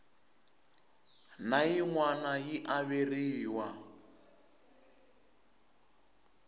na yin wana yi averiwa